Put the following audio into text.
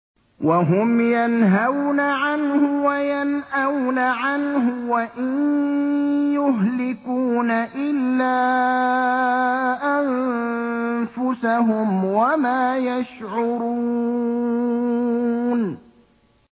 وَهُمْ يَنْهَوْنَ عَنْهُ وَيَنْأَوْنَ عَنْهُ ۖ وَإِن يُهْلِكُونَ إِلَّا أَنفُسَهُمْ وَمَا يَشْعُرُونَ